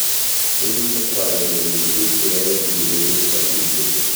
Kenyisyiek ko akenge eng tukuk cheaei chii kobeet kang'uiset